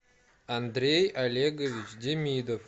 андрей олегович демидов